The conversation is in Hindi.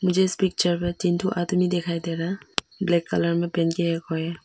जिस पिक्चर में तीन ठो आदमी दिखाई दे रहा ब्लैक कलर में पेंट किया हुआ है।